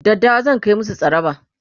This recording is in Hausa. daddawa zan Kai musu tsaraba